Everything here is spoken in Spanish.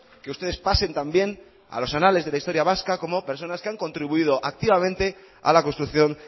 que ustedes pasen también a los anales de la historia vasca como personas que han contribuido activamente a la construcción